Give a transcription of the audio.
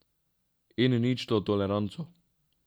In ničto toleranco.